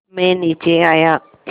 मैं नीचे आया